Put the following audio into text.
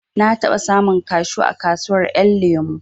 Na taɓa samun kashu a kasuwar ƴan lemo